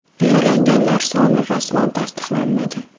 Yaralanganlar soni rasman tasdiqlanmagan.